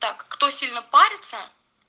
так кто сильно парится